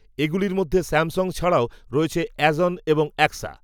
এগুলির মধ্যে স্যামসুং ছাড়াও রয়েছে এজঅন এবং অ্যাক্সা